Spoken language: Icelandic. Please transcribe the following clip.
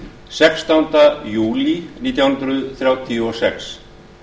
sextánda júlí nítján hundruð þrjátíu og sex